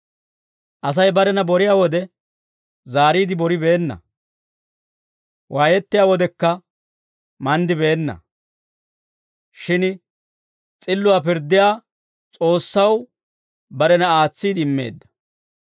Asay barena boriyaa wode, zaariide boribeenna; waayettiyaa wodekka manddibeenna. Shin s'illuwaa pirddiyaa S'oossaw barena aatsiide immeedda.